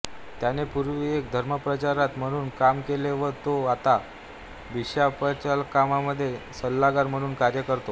त्यांने पूर्वी एक धर्माप्रचार्तर म्हणून काम केले व तो आता बिशाप्चालाकामध्ये सल्लागार म्हणून कार्य करतो